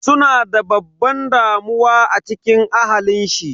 Suna da babban damuwa a cikin ahalin shi.